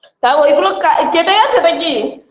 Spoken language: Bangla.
তা ওইগুলো কা কেটে গেছে নাকি